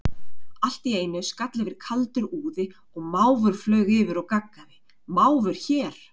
Allt í einu skall yfir kaldur úði og máfur flaug yfir og gaggaði, máfur hér?